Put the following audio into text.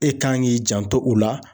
E kan k'i janto u la.